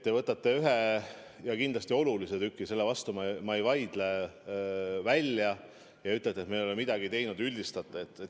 Te võtate ühe ja kindlasti olulise tüki – selle vastu ma ei vaidle – välja ja ütlete, et me ei ole midagi teinud, üldistate.